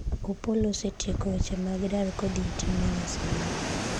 Opollo osetieko weche mag dar kodhi e tim mar Arsenal